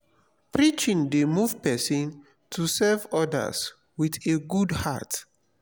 preaching dey move pesin to serve odas wit a good heart.